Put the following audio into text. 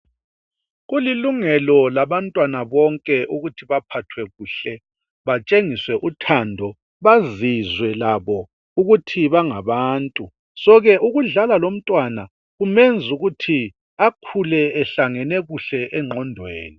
Kulilungelo labantwana bonke ukuthi baphathwe kuhle. Batshengiswe uthando. Bazizwe labo, ukuthi bangabantu. Ngakho ke ukudlala lomntwana kumenza ukuthi akhule, ehlangane kuhle engqondweni.